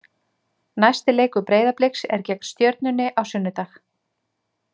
Næsti leikur Breiðabliks er gegn Stjörnunni á sunnudag.